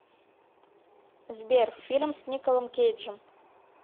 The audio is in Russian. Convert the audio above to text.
сбер фильм с николом кейджем